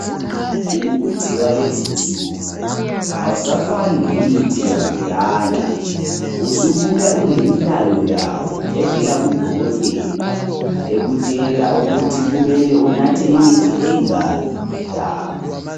Umuthi walezinsuku awusafani lemithi yakudala usubuya ulemilayo yawo evela kudokotela ekutshela ukuthi kumele unathe imithi eyingaki ngelanga.